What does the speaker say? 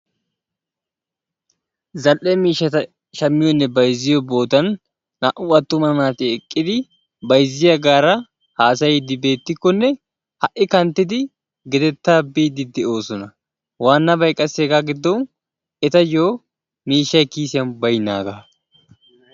Zal"ee miishshata shammiyonne bayzziyo boottan naa"u attuma naati eqqidi bayzziyaagaara haasayiidi beettikkonne ha'i kanttidi gedettaa biidi de"oosona; waannabay qassi hegaa giddon etayo miishshay kiisiyan baynaagaa.